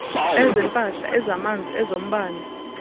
ezempahla ezamanzi ezombane